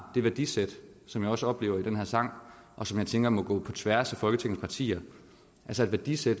det værdisæt som jeg også oplever i den her sang og som jeg tænker må gå på tværs af folketingets partier altså et værdisæt